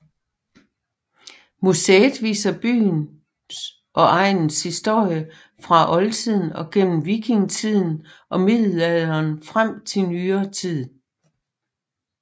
Museet viser byens og egnens historie fra oldtiden gennem vikingetiden og middelalderen frem til nyere tid